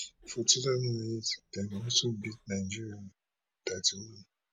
for two thousand and eight dem also beat nigeria thirty one